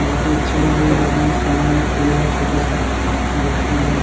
बहोत ही अच्छा लग रहा है देकने में सामने एक पेड़ है छोटा सा जिसका --